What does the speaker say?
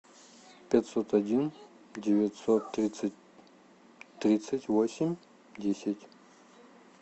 пятьсот один девятьсот тридцать тридцать восемь десять